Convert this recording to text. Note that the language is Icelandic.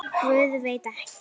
Guð, veit ekki.